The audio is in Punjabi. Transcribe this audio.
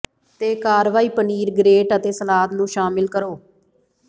ਤੇ ਕਾਰਵਾਈ ਪਨੀਰ ਗਰੇਟ ਅਤੇ ਸਲਾਦ ਨੂੰ ਸ਼ਾਮਿਲ ਕਰੋ